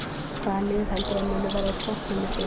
Hvaða lið heldurðu að muni verða á toppnum í sumar?